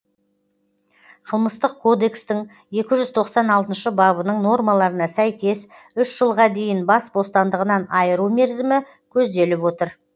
қылмыстық кодекстің екі жүз тоқсан алтыншы бабының нормаларына сәйкес үш жылға дейін бас бостандығынан айыру мерзімі көзделіп отыр